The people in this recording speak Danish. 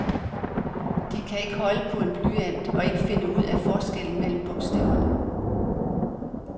De kan ikke holde på en blyant og ikke finde ud af forskellen mellem bogstaverne.